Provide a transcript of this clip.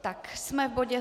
Tak jsme v bodě